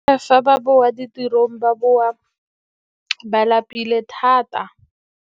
Fa ba boa ditirong ba boa ba lapile thata.